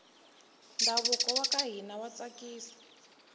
ndhavuko waka hina wa tsakisa